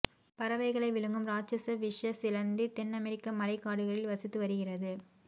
பறவைகளை விழுங்கும் இராட்சத விஷ சிலந்தி தென் அமெரிக்க மழை காடுகளில் வசித்து வருகிறது